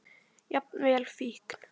Jafnvel fíkn.